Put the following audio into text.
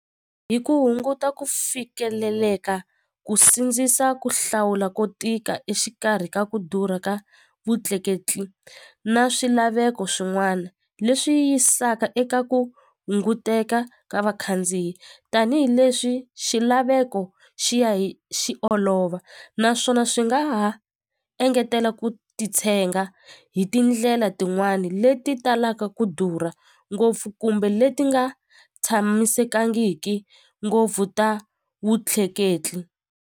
Hi ku hunguta ku fikeleleka ku sindzisa ku hlawula ko tika exikarhi ka ku durha ka vutleketli na swilaveko swin'wana leswi yisaka eka ku hunguteka ka vakhandziyi tanihileswi xilaveko xi ya hi xi olova naswona swi nga ha engetela ku titshenga hi tindlela tin'wani leti talaka ku durha ngopfu kumbe leti nga tshamisekangiki ngopfu ta vutleketli.